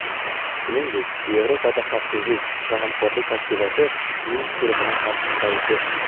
shuningdek Yevropada xavfsizlik va hamkorlik tashkiloti Minsk guruhining hamraisi.